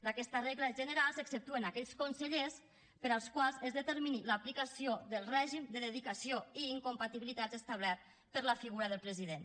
d’aquesta regla general s’exceptuen aquells consellers per als quals es determini l’aplicació del règim de dedicació i incompatibilitat establert per a la figura del president